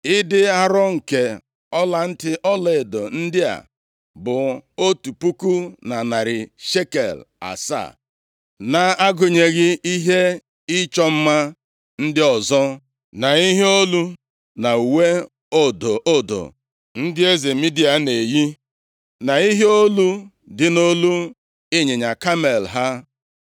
Ịdị arọ nke ọlantị ọlaedo ndị a bụ otu puku na narị shekel asaa, na-agụnyeghị ihe ịchọ mma ndị ọzọ, na ihe olu, na uwe odo odo ndị eze Midia na-eyi, na ihe olu dị nʼolu ịnyịnya kamel ha.